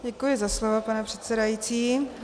Děkuji za slovo, pane předsedající.